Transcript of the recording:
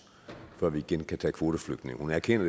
før vi igen kan tage kvoteflygtninge hun erkender